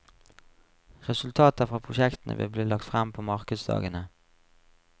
Resultater fra prosjektene vil bli lagt fram på markdagene.